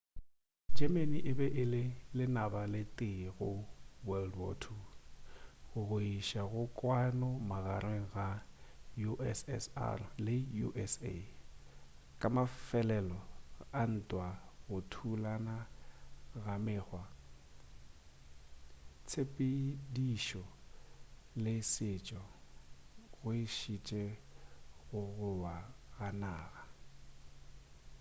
germany e be e le lenaba le tee go world war 2 go iša go kwano magareng ga ussr le usa ka mafelelo a ntwa go thulana ga mekgwa tshepedišo le setšo go išitše go go wa ga naga